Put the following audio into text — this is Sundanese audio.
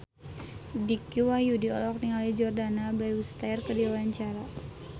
Dicky Wahyudi olohok ningali Jordana Brewster keur diwawancara